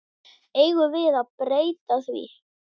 Eigum við að breyta því?